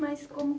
Mas como